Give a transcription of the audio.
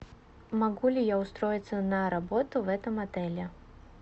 могу ли я устроиться на работу в этом отеле